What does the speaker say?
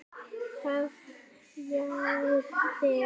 Hvað hrjáir þig?